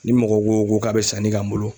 Ni mɔgɔ ko KO k'a bɛ sanni k'an bolo